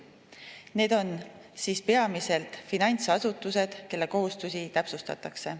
Need on peamiselt finantsasutused, kelle kohustusi täpsustatakse.